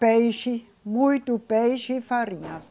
Peixe, muito peixe e farinha.